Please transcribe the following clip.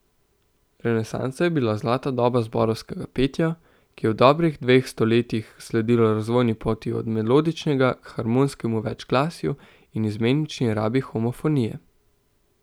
Renesansa je bila zlata doba zborovskega petja, ki je v dobrih dveh stoletjih sledilo razvojni poti od melodičnega k harmonskemu večglasju in izmenični rabi homofonije.